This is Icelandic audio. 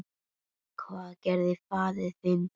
Hvað gerði faðir þinn?